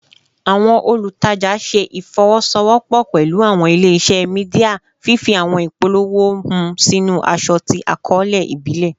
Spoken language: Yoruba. Awọn olutaja ṣe ifowosowopo pẹlu awọn ile-iṣẹ media, fifi awọn ipolowo hun sinu aṣọ ti akọọlẹ ibile